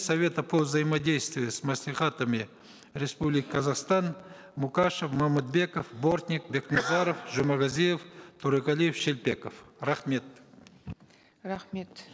совета по взаимодействию с маслихатами республики казахстан мукашев момытбеков бортник бекмухаров жумагазиев торегалиев шелпеков рахмет рахмет